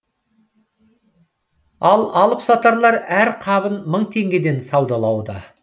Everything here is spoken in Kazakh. ал алып сатарлар әр қабын мың теңгеден саудалады